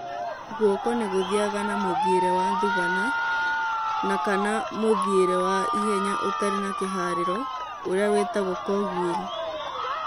Guoko nĩguthiaga na mũthiĩre wa thubana na kana mũthiĩre wa na ihenya ũtarĩ na kĩharĩro ũrĩa wĩtagwo "cogwheel"